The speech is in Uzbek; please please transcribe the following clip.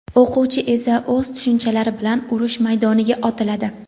o‘quvchi esa o‘z tushunchalari bilan urush maydoniga otiladi.